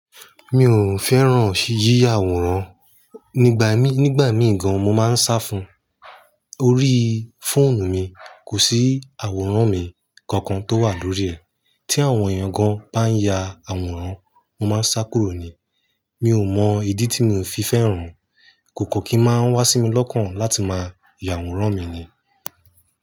Mi ò fẹ́ràn yíya àwòrán, nígbà mí-nígbà mí gan-an mo máa ń sá fún, orí fóònù mi kò sí àwòrán mi kankan tó wà lórí ẹ̀. Tí àwọn èèyàn gan-an bá ya àwòrán, mo máa ń sá kúrò ni. Mi ò mọ ìdí tí mi ò fi fẹ́ràn, kò kọ́ kí máa wá sí mi lọ́kàn láti máa ya àwòrán mi ni.